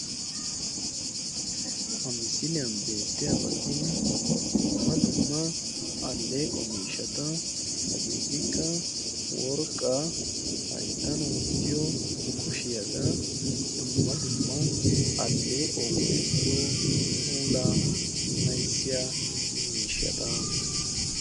Ha misiliyan beettiyabati dumma dumma alleeqo miishshata. Hageetikka worqqaa, hayittan wottiyo kushiyaagaa, dumma dumma alleequwawu go'ettiyo puulaa mayissiya miishshata.